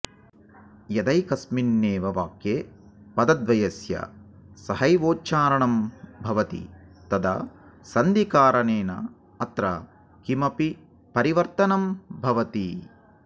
यदैकस्मिन्नेव वाक्ये पदद्वयस्य सहैवोच्चारणं भवति तदा सन्धिकारणेन अत्र किमपि परिवर्त्तनं भवति